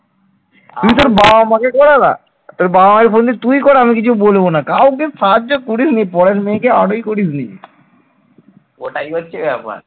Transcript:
ওটাই হচ্ছে ব্যাপার ।